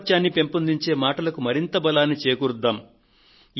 ఐకమత్యాన్ని పెంపొందించే మాటలకు మరింత బలాన్ని చేకూర్చుదాము